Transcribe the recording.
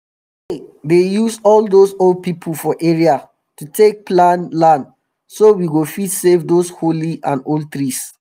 we dey dey use all dose old pipu for area to take plan land so we go fit save those holy and old trees